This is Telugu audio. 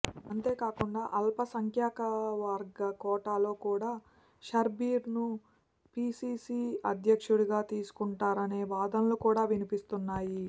అంతేకాకుండా అల్పసంఖ్యాకవర్గ కోటాలో కూడా షబ్బీర్ ను పిసిసి అధ్యక్షుడిగా తీసుకుంటున్నారనే వాదనలు కూడా వినిపిస్తున్నాయి